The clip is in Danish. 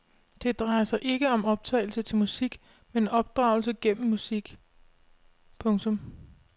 Det drejer sig ikke om opdragelse til musik men opdragelse gennem musik. punktum